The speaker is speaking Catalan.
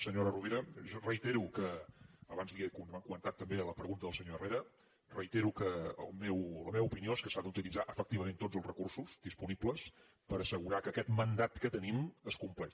senyora rovira reitero que abans ho hem comentat també en la pregunta del senyor herrera la meva opinió és que s’han d’utilitzar efectivament tots els recursos disponibles per assegurar que aquest mandat que tenim es compleix